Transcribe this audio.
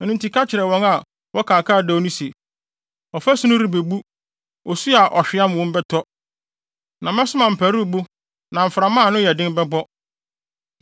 ɛno nti ka kyerɛ wɔn a wɔka akaadoo no se, ɔfasu no rebebu. Osu a ɔhweam wɔ mu bɛtɔ, na mɛsoma mparuwbo, na mframa a ano yɛ den bɛbɔ.